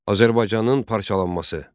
Azərbaycanın parçalanması.